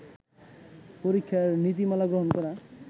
পরীক্ষার নীতিমালা গ্রহণ করা